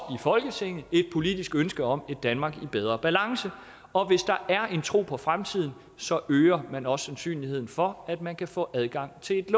folketinget er et politisk ønske om et danmark i bedre balance og hvis der er en tro på fremtiden øger man også sandsynligheden for at man kan få adgang til et